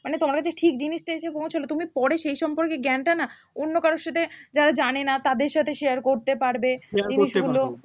মানে তোমার কাছে ঠিক জিনিসটা এসে পৌঁছলো তুমি পরে সেই সম্পর্কে জ্ঞানটা না অন্য কারোর সাথে যারা জানেনা তাদের সাথে share করতে পারবে জিনিসগুলো